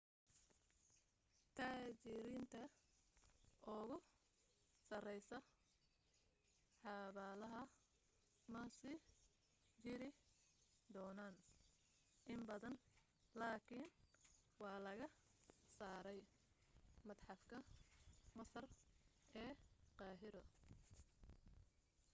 taajiriinta ugu sareysa xabaalaha ma sii jiri doonaaan in badan lakin waa laga saaray madxafka masar ee qahiro